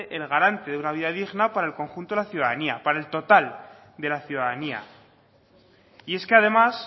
el garante de una vida digna para el conjunto de la ciudadanía para el total de la ciudadanía y es que además